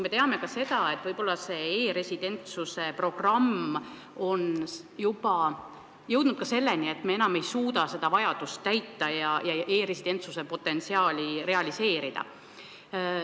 Me teame seda, et e-residentsuse programm on juba jõudnud selleni, et me enam ei suuda seda vajadust täita ja e-residentsuse potentsiaali realiseerida.